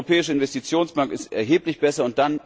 Die Europäische Investitionsbank ist erheblich besser.